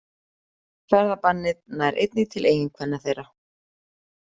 Ferðabannið nær einnig til eiginkvenna þeirra